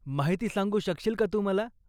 माहिती सांगू शकशील का तू मला?